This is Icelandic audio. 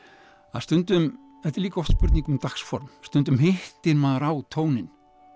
stundum þetta er líka oft spurning um stundum hittir maður á tóninn